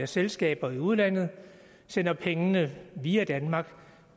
selskaber i udlandet sender pengene via danmark